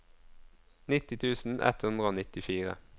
nitti tusen ett hundre og nittifire